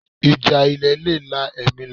Ìjà ilẹ̀ le la ẹ̀mí lọ